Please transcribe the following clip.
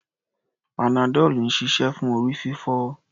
Panadol ń ṣiṣẹ́ fún orí-fífọ́.